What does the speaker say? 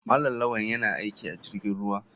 Malam lawal yana aiki a jirgin ruwa.